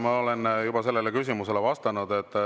Ma olen sellele küsimusele juba vastanud.